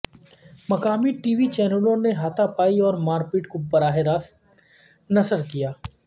مقامی TV چینلوں نے ہاتھا پائی اور مار پیٹ کو براہ راست نشر کیا